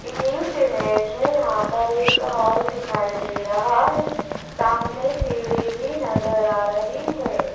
इस इमेज में यहां पर एक हॉल दिखाई दे रहा है सामने सीढ़ी भी नजर आ रही है।